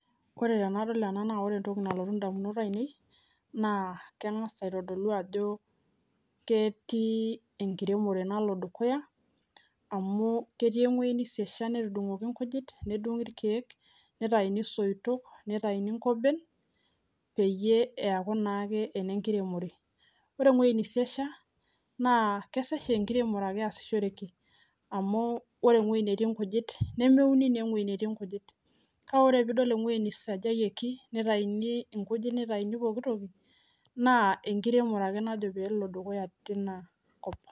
Ore tenadol ena naa ore entoki nalotu idamunot aainei naa kagaz aitodolu ajo ketii enekiremore naloito dukuyaa amu ketii ewueji niisiasha , netudungoki ilkieek nitauni isoitok, nitauni inkoben peyie eekunaake enekiremore, ore ewuei niisiasha naa kesesh aa enekiremore ake eesiki amu ore ewuei netii irkujit nemeuni naa ewuei netii irkujit, ore piidol wueii nisajayioki niyuni irkujit nitauni pookin toki naa enekiremore ake najo peelo dukuyaa tina kop